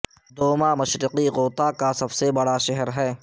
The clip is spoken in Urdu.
دوما مشرقی غوطہ کا سب سے بڑا شہر ہے